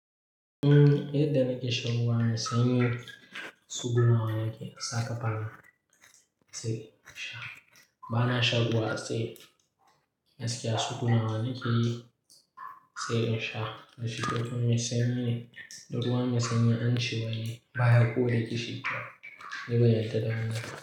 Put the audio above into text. Umm, yadda nake shagwana sanyi, tsuguna wanake saka fal. Bana shan ruwa, sai gaskiya Sai in sha. Rashin lafiya sanyi ne, ba ruwa mai sanyi bane. Ba ya ko re kishi. Duba yadda dangan.